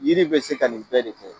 Yiri bɛ se ka nin bɛɛ de kɛ.